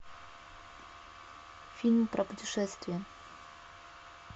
фильм про путешествия